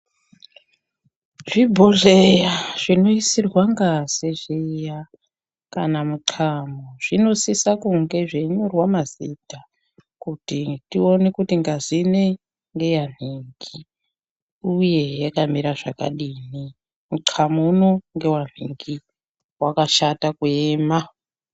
Zvibhodhleya zvinoiswa ngazi kana mutxamo zvinosisa kunge zveinyorwa mazita kuti tione kuti ngazi inoyi ngeyanhingi, uyehe yakamira zvakadini, mutxamo uno ngewa nhingi, pakashata kuema.